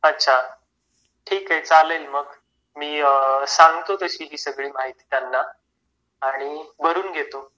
अच्छा. ठीक आहे चालेल मग. मी सांगतो तशी ती सगळी माहिती त्यांना आणि भरून घेतो.